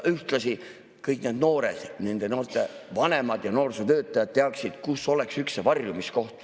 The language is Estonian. Ühtlasi kõik need noored, nende noorte vanemad ja noorsootöötajad teaksid, kus oleks üks varjumiskoht.